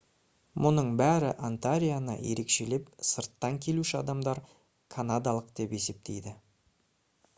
мұның бәрі онтарионы ерекшелеп сырттан келуші адамдар канадалық деп есептейді